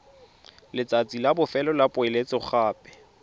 letsatsi la bofelo la poeletsogape